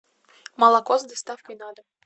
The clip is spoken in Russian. молоко с доставкой на дом